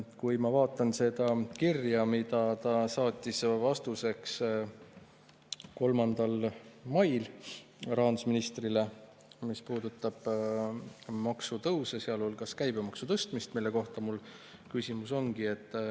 Kui ma vaatan seda kirja, mille ta saatis 3. mail vastuseks rahandusministrile ja mis puudutab maksutõuse, sealhulgas käibemaksu tõstmist, siis selle kohta mul küsimus ongi.